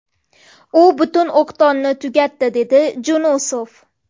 U butun o‘qdonni tugatdi”, dedi Junusov.